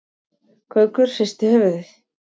Gaukur hristi höfuðið.